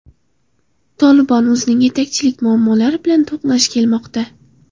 Tolibon o‘zining yetakchilik muammolari bilan to‘qnash kelmoqda.